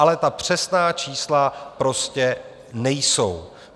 Ale ta přesná čísla prostě nejsou.